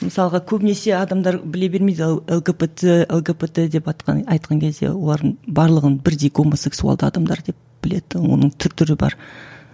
мысалға көбінесе адамдар біле бермейді л лгбт лгбт деватқан айтқан кезде олардың барлығын бірдей гомосексуалды адамдар деп біледі оның түр түрі бар